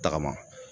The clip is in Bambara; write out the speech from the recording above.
Tagama